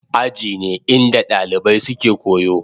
Aji ne inda dalibai suke koyo.